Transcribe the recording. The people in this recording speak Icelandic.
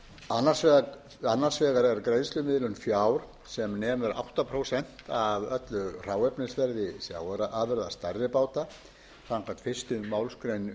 annars vegar er greiðslumiðlun fjár sem nemur átta prósent af öllu hráefnisverði sjávarafurða stærri báta samkvæmt fyrstu málsgrein